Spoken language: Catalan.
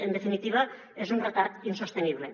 en definitiva és un retard insostenible